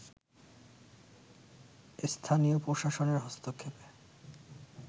স্থানীয় প্রশাসনের হস্তক্ষেপে